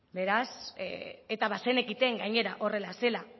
eta bazenekiten gainera horrela zela